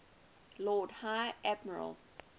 lord high admiral